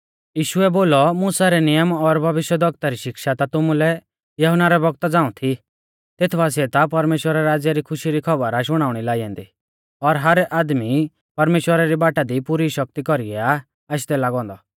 यीशुऐ बोलौ मुसा रै नियम और भविष्यवक्ता री शिक्षा ता तुमुलै यहुन्ना रै बौगता झ़ांऊ थी तेथ बासिऐ ता परमेश्‍वरा रै राज़्य री खुशी री खौबर आ शुणाउणी लाई ऐन्दी और हर आदमी परमेश्‍वरा री बाटा दी पुरी शक्ति कौरीऐ आ आशदै लागौ औन्दौ